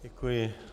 Děkuji.